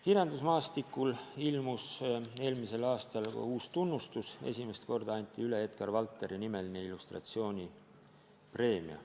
Kirjandusmaastikule ilmus eelmisel aastal ka uus tunnustus: esimest korda anti üle Edgar Valteri nimeline illustratsioonipreemia.